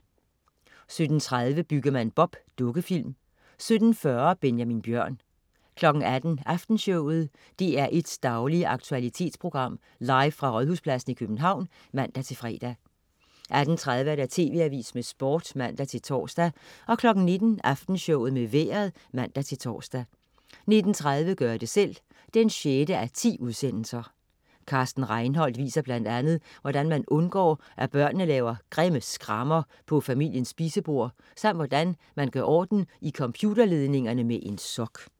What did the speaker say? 17.30 Byggemand Bob. Dukkefilm 17.40 Benjamin Bjørn 18.00 Aftenshowet. DR1's daglige aktualitetsprogram, live fra Rådhuspladsen i København (man-fre) 18.30 TV Avisen med Sport (man-tors) 19.00 Aftenshowet med Vejret (man-tors) 19.30 Gør det selv 6:10. Carsten Reinholdt viser bl.a. hvordan man undgår, at børnene laver grimme skrammer på familiens spisebord, samt hvordan man gør orden i computerledningerne med en sok